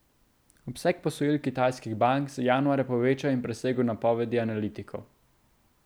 Obseg posojil kitajskih bank se januarja povečal in presegel napovedi analitikov.